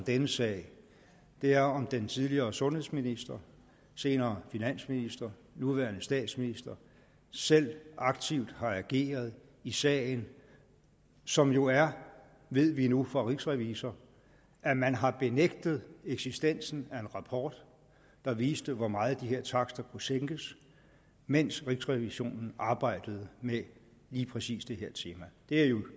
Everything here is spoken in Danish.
denne sag er om den tidligere sundhedsminister senere finansminister nuværende statsminister selv aktivt har ageret i sagen som jo er ved vi nu fra rigsrevisor at man har benægtet eksistensen af en rapport der viste hvor meget de her takster kunne sænkes mens rigsrevisionen arbejdede med lige præcis det her tema det er jo